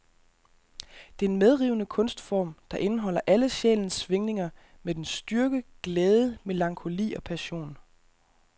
Det er en medrivende kunstform, der indeholder alle sjælens svingninger med dens styrke, glæde, melankoli og passion.